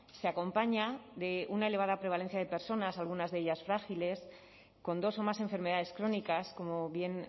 se acompaña de una elevada prevalencia de personas algunas de ellas frágiles con dos o más enfermedades crónicas como bien